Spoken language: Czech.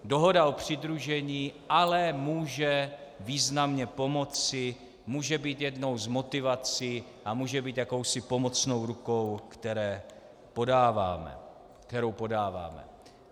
Dohoda o přidružení ale může významně pomoci, může být jednou z motivací a může být jakousi pomocnou rukou, kterou podáváme.